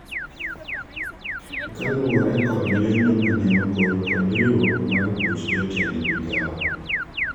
kaluwore kod lendo mane ogol kod riwruok mar buch jotend migawo